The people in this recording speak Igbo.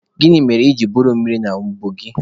Gịnị mere iji buru mmiri a n'ubu gị?